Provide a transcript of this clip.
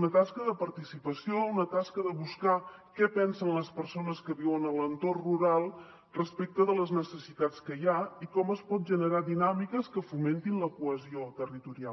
una tasca de participació una tasca de buscar què pensen les persones que viuen a l’entorn rural respecte de les necessitats que hi ha i com es poden generar dinàmiques que fomentin la cohesió territorial